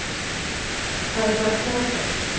Það er bara frábært.